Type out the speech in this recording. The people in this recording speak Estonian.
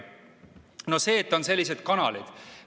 No see, et on sellised kanalid.